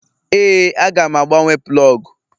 Ee, Aga m agbanwe plọg.